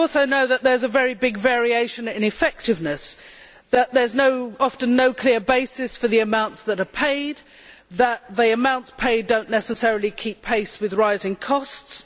We also know that there are very big variations in effectiveness, that there is often no clear basis for the amounts that are paid, and that the amounts paid do not necessarily keep pace with rising costs.